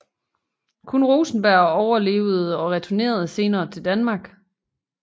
Kun Rosenberg overlevede og returnerede senere til Danmark